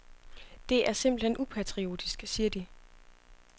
Det er simpelt hen upatriotisk, siger de.